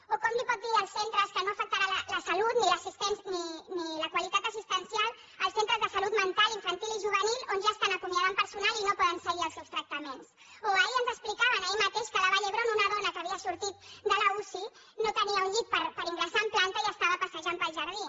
o com li pot dir als centres que no afectarà la salut ni la qualitat assistencial als centres de salut mental infantil i juvenil on ja estan acomiadant personal i no poden seguir els seus tractaments o ahir ens explicaven ahir mateix que a la vall d’hebron una dona que havia sortit de l’uci no tenia un llit per ingressar en planta i estava passejant pel jardí